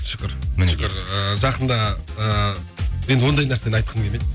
шүкір мінекей шүкір ыыы жақында ы енді ондай нәрсені айтқым келмейді